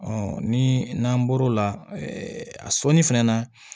ni n'an bɔr'o la a sɔnni fɛnɛ na